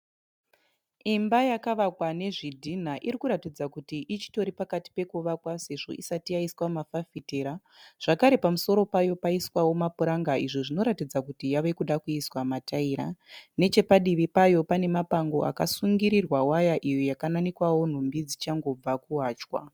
Imba yakavakwa nezvidhinha irikuratidza kuti ichitori pakati pekuvakwa sezvo isati yaiswa mafafitera. Zvakare pamusoro payo paiswawo mapuranga izvo zvinoratidza kuti yave kuda kuiswa mataira. Nechepadivi payo pane mapango akasungirirwa waya iyo yakananikwawo nhumbi dzichangobva kuwachwa.